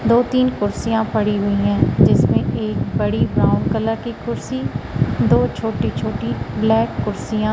दो तीन कुर्सियां पड़ी हुई हैं जिसमें एक बड़ी ब्राउन कलर की कुर्सी दो छोटी छोटी ब्लैक कुर्सियां।